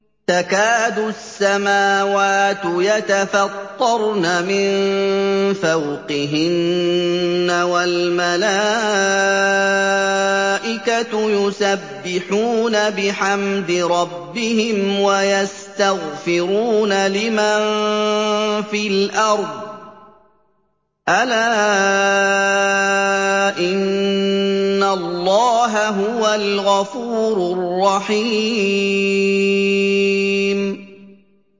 تَكَادُ السَّمَاوَاتُ يَتَفَطَّرْنَ مِن فَوْقِهِنَّ ۚ وَالْمَلَائِكَةُ يُسَبِّحُونَ بِحَمْدِ رَبِّهِمْ وَيَسْتَغْفِرُونَ لِمَن فِي الْأَرْضِ ۗ أَلَا إِنَّ اللَّهَ هُوَ الْغَفُورُ الرَّحِيمُ